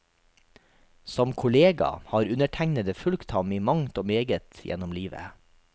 Som kollega har undertegnede fulgt ham i mangt og meget gjennom livet.